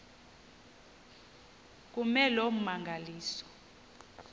kume loo mmangaliso